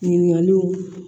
Ɲininkaliw